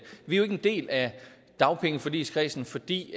vi er ikke en del af dagpengeforligskredsen fordi